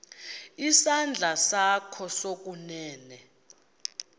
isandla sakho sokunene